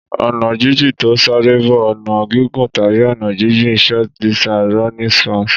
Ọ̀nà jíjìn tí ó ń sáré bo ọ̀nà gígùn tàbí ọ̀nà jíjìn. Short-distance running spans